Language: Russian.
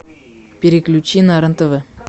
переключи на рен тв